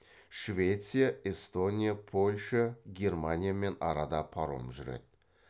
швеция эстония польша германиямен арада паром жүреді